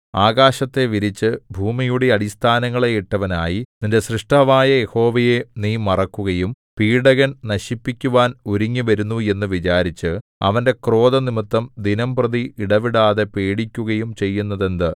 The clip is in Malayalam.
ആകാശത്തെ വിരിച്ച് ഭൂമിയുടെ അടിസ്ഥാനങ്ങളെ ഇട്ടവനായി നിന്റെ സ്രഷ്ടാവായ യഹോവയെ നീ മറക്കുകയും പീഡകൻ നശിപ്പിക്കുവാൻ ഒരുങ്ങിവരുന്നു എന്നു വിചാരിച്ച് അവന്റെ ക്രോധം നിമിത്തം ദിനംപ്രതി ഇടവിടാതെ പേടിക്കുകയും ചെയ്യുന്നതെന്ത്